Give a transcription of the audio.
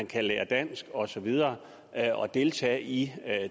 kan lære dansk og så videre og deltage i